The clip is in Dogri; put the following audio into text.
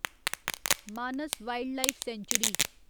Manas wildlife sanctuary